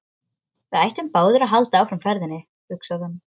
Við ættum báðir að halda áfram ferðinni, hugsaði hann.